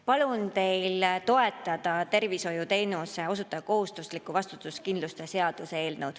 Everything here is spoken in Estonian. Palun teil toetada tervishoiuteenuse osutaja kohustusliku vastutuskindlustuse seaduse eelnõu.